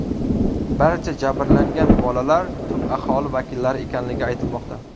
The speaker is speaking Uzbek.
Barcha jabrlangan bolalar tub aholi vakillari ekanligi aytilmoqda.